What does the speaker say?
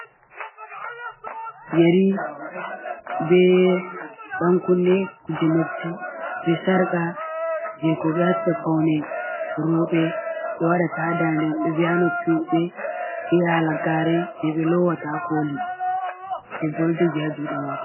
Yeri be dankunne kuje, noppi be sarka je ko be watta paune roɓe ɓe wadata ha dande be noppi robe be halagare je ɓe lowata koli ɗebbo ɗo jogi ha juɗe mako.